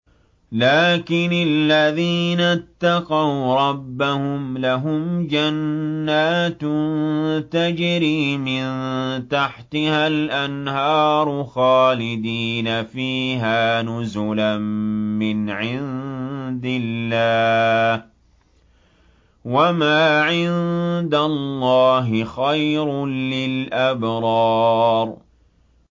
لَٰكِنِ الَّذِينَ اتَّقَوْا رَبَّهُمْ لَهُمْ جَنَّاتٌ تَجْرِي مِن تَحْتِهَا الْأَنْهَارُ خَالِدِينَ فِيهَا نُزُلًا مِّنْ عِندِ اللَّهِ ۗ وَمَا عِندَ اللَّهِ خَيْرٌ لِّلْأَبْرَارِ